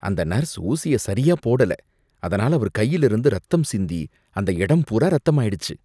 அந்த நர்ஸ் ஊசிய சரியா போடல, அதனால அவர் கையில இருந்து ரத்தம் சிந்தி அந்த இடம் பூரா ரத்தமாயிடுச்சு.